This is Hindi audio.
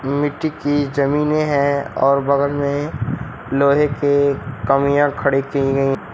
मिट्टी की जमीनें हैं और बगल में लोहे के कमियां खड़ी की गई--